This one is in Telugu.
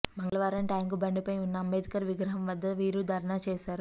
మంగళవారం ట్యాంకుబండ్పై ఉన్న అంబేద్కర్ విగ్రహం వద్ద వీరు ధర్నా చేశారు